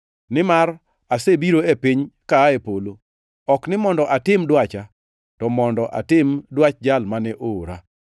Nimar asebiro e piny ka aa e polo, ok ni mondo atim dwacha, to mondo atim dwach Jal mane oora.